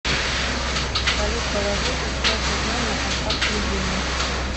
салют положи пятьсот рублей на контакт любимый